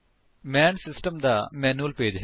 ਮੈਨ system ਦਾ manual pager ਹੈ